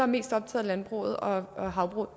mest optaget af landbruget og havbruget